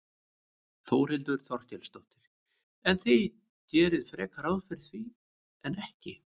Þórhildur Þorkelsdóttir: En þið gerið frekar ráð fyrir því en ekki?